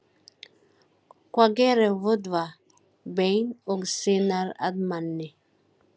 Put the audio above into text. Hvað gerir vöðva, bein og sinar að manni?